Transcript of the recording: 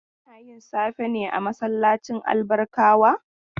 Ana yin safe ne a masallacin Albarkawa?